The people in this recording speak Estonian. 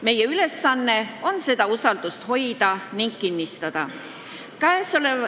Meie ülesanne on seda usaldust hoida ja kinnistada.